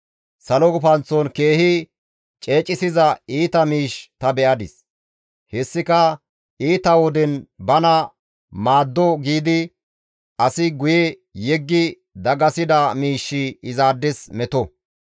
Salo gufanththon keehi ceecesiza iita miish ta be7adis; hessika iita woden bana maaddo giidi asi guye yeggi dagasida miishshi izaades meto;